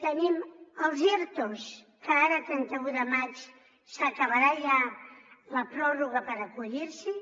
tenim els ertos que ara el trenta un de maig s’acabarà ja la pròrroga per acollir s’hi